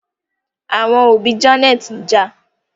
Àwọn òbí Janet njà